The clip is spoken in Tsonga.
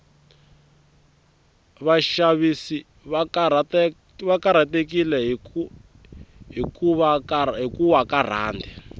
vashavisi vakarhatekile hhikuwa karand